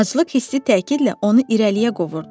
Aclıq hissi təkidlə onu irəliyə qovurdu.